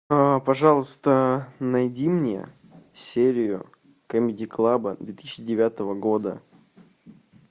пожалуйста найди мне серию камеди клаба две тысячи девятого года